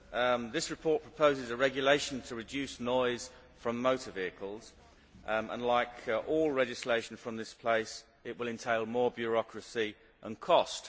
Mr President, this report proposes a regulation to reduce noise from motor vehicles and, like all legislation from this place, it will entail more bureaucracy and cost.